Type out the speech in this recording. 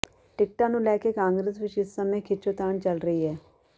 ਟਿਕਟਾਂ ਨੂੰ ਲੈ ਕੇ ਕਾਂਗਰਸ ਵਿਚ ਇਸ ਸਮੇਂ ਖਿੱਚੋਤਾਣ ਚੱਲ ਰਹੀ ਹੈ